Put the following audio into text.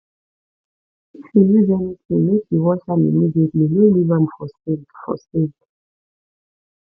if you use anytin make you wash am immediately no leave am for sink for sink